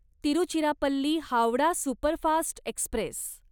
Tiruchirappalli Howrah superfast Express